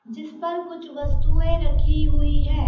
जिस पर कुछ वस्तुएं रखी हुई हैं।